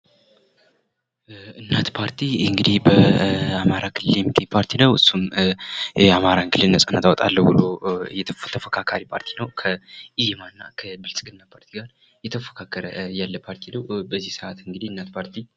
እናት ፓርቲ እንግዲህ በአማራ ክልል የሚገኝ ፓርቲ ነው። የአማራን ክልል ነፃ አወጣለሁ ብሎ የተፎካካሪ ፓርቲ ነው። ይህ ከብልፅግና ፓርቲ ጋር እየተፎካከረ ያለ ፓርቲ ነው። በዚህ ሰዓት እንግዲህ እናት ፓርቲ